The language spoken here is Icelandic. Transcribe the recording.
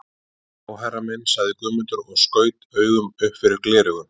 Já herra minn, sagði Guðmundur og skaut augum upp fyrir gleraugun.